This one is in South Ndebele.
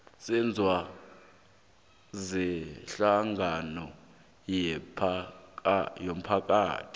selwazi sehlangano yomphakathi